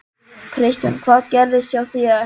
Kristján: Hvað gerðist hjá þér?